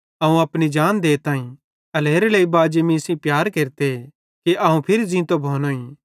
अवं अपनी जान देताईं एल्हेरेलेइ बाजी मीं सेइं प्यार केरते कि अवं फिरी ज़ींतो भोईं